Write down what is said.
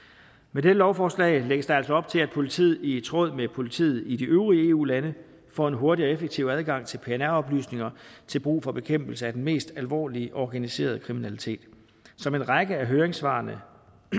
med dette lovforslag lægges der altså op til at politiet i tråd med politiet i de øvrige eu lande får en hurtig og effektiv adgang til pnr oplysninger til brug for bekæmpelse af den mest alvorlige organiserede kriminalitet som en række af høringssvarene